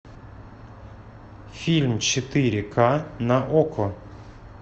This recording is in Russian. фильм четыре ка на окко